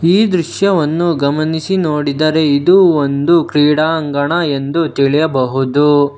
ಈ ದೃಶ್ಯವನ್ನು ಗಮನಿಸಿ ನೋಡಿದರೆ ಇದು ಒಂದು ಕ್ರೀಡಾಂಗಣ ಎಂದು ತಿಳಿಯಬಹುದು.